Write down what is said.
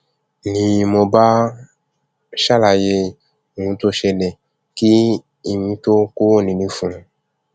ni mo bá ṣàlàyé òun tó ń ṣẹlẹ kí èmi tóo kúrò nílé fún un